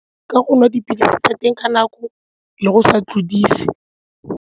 Ka go nwa dipilisi tsa teng ka nako le go sa tlodise.